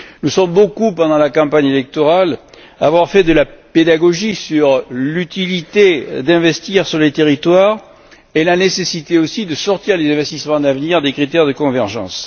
Nous sommes nombreux, pendant la campagne électorale, à avoir fait de la pédagogie sur l'utilité d'investir sur les territoires et la nécessité aussi de sortir les investissements d'avenir des critères de convergence.